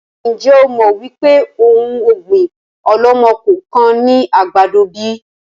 Ń jẹ́ ó mọ wípé òun ọ̀gbín ọ̀lọ́mọ-kọọ-kan ni àgbàdo bíi?